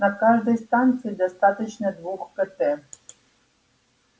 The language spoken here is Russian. на каждой станции достаточно двух кт